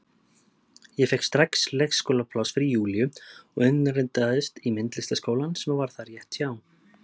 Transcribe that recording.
Ég fékk strax leikskólapláss fyrir Júlíu og innritaðist í myndlistarskólann sem var þar rétt hjá.